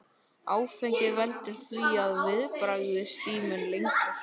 Áfengi veldur því að viðbragðstíminn lengist.